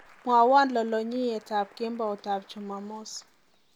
Mwowo lolonyiyetab kemboutab jomomis